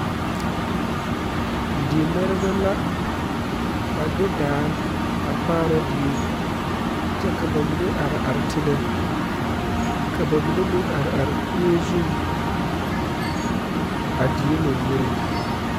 Dimɛrebɛ la a de daa a kaara. die kyɛ ka ba mine are are teŋa ka ba mine meŋ are are kuree zuriŋ a die lamboriŋ